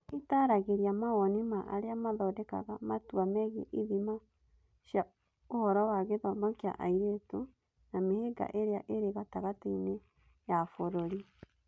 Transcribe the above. Nĩ ĩtaaragĩria mawoni ma arĩa mathondekaga matua megiĩ ithima cia ũhoro wa gĩthomo kĩa airĩtu; na mĩhĩnga ĩrĩa ĩrĩ gatagatĩ-inĩ ya bũrũri.